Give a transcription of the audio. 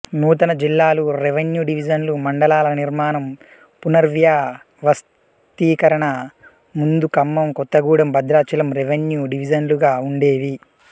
నూతన జిల్లాలు రెవెన్యూ డివిజన్లు మండలాల నిర్మాణం పునర్వ్యవస్థీకరణ ముందు ఖమ్మం కొత్తగూడెం భద్రాచలం రెవెన్యూ డివిజన్లుగా ఉండేవి